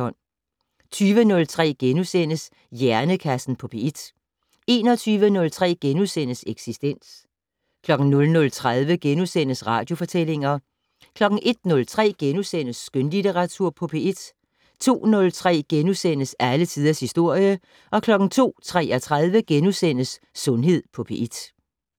20:03: Hjernekassen på P1 * 21:03: Eksistens * 00:30: Radiofortællinger * 01:03: Skønlitteratur på P1 * 02:03: Alle tiders historie * 02:33: Sundhed på P1 *